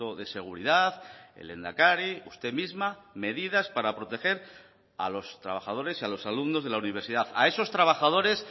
de seguridad el lehendakari usted misma medidas para proteger a los trabajadores y a los alumnos de la universidad a esos trabajadores